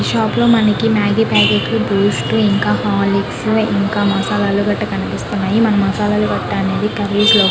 ఈ షాప్ లో మనకి మాగి పాకెట్స్ బూస్ట్ ఇంకా హొర్లుక్స్ మసాలాలు కనిపిస్తున్నాయి మనము మసాలాలు అనేది కుర్రి లో --